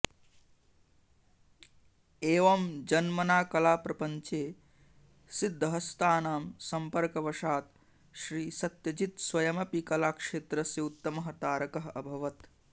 एवं जन्मना कलाप्रपञ्चे सिद्धहस्तानां सम्पर्कवशात् श्रीसत्यजित् स्वयमपि कलाक्षेत्रस्य उत्तमः तारकः अभवत्